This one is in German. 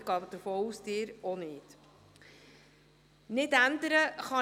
Ich gehe davon aus, dass Sie das auch nicht könnten.